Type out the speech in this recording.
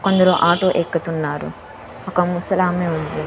కొందరు ఆటో ఎక్కుతున్నారు ఒక ముసలామె ఉంది.